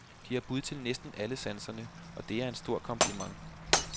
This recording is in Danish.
De har bud til næsten alle sanserne, og det er en stor kompliment.